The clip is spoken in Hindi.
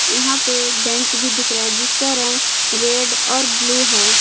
यहां पे बेंच भी दिख रहा है जिसका रंग रेड और ब्लू है।